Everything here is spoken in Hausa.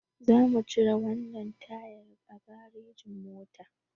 Zamu cire wannan tayar a garejin mota.